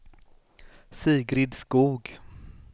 Sigrid Skog